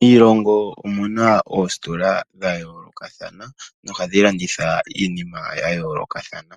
Miilongo omuna oositola dhayoolokathana nohadhilanditha iinima ya yoolokathana.